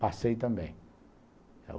Passei também.